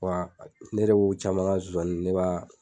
Wa ne de b'u caman ka nsonsani ne b'a